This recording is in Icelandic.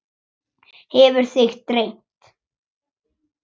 Hefur þig dreymt?